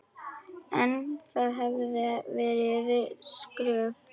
En það hefði verið skrök.